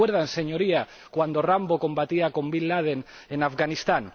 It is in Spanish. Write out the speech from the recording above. ¿Se acuerdan, Señorías, de cuando Rambo combatía con Bin Laden en Afganistán?